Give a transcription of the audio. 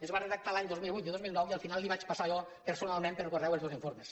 es va redactar l’any dos mil vuit i el dos mil nou i al final li vaig passar jo personalment per correu els dos informes